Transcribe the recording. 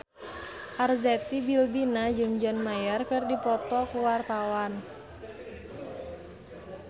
Arzetti Bilbina jeung John Mayer keur dipoto ku wartawan